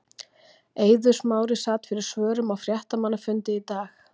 Eiður Smári sat fyrir svörum á fréttamannafundi í dag.